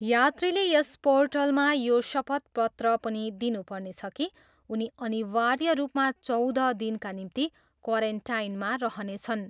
यात्रीले यस र्पोटलमा यो शपथ पत्र पनि दिनुपर्नेछ कि उनी अनिवार्य रूपमा चौध दिनका निम्ति क्वारेन्टाइनमा रहनेछन्।